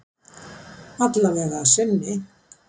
Alla vega að sinni